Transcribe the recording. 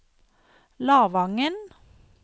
Lavangen